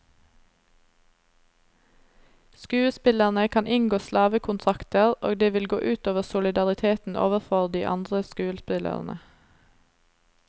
Skuespillerne kan inngå slavekontrakter, og det vil gå ut over solidariteten overfor de andre skuespillerne.